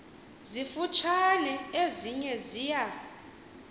zifutshane ezinye ziya